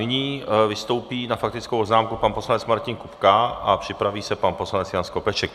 Nyní vystoupí s faktickou poznámkou pan poslanec Martin Kupka a připraví se pan poslanec Jan Skopeček.